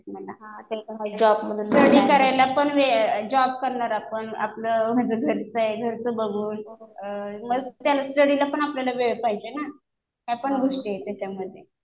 भेटत मला. स्टडी ठरायला पण वेळ, जॉब करणार आपण. आपलं घरचं आहे. घरचं बघून मग त्या स्टडीलापण आपल्याला वेळ पाहिजे ना.ह्या पण गोष्टी आहे त्याच्यामध्ये.